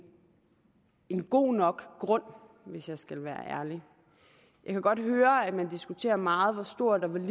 god nok grund hvis vi skal være ærlige jeg kan godt høre at man diskuterer meget hvor stort